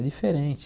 É diferente.